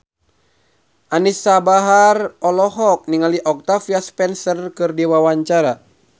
Anisa Bahar olohok ningali Octavia Spencer keur diwawancara